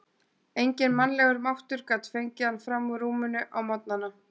Enginn mannlegur máttur gat fengið hann fram úr rúminu á morgnana.